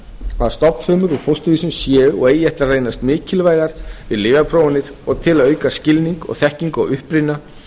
að stofnfrumur úr fósturvísum séu og eigi eftir að reynast mikilvægar við lyfjaprófanir og til að auka skilning og þekkingu á uppruna